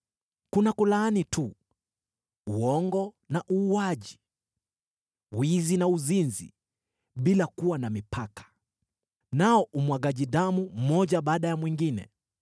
Kuna kulaani tu, uongo na uuaji, wizi na uzinzi, bila kuwa na mipaka, nao umwagaji damu mmoja baada ya mwingine.